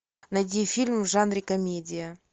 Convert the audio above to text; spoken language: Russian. найди фильм в жанре комедия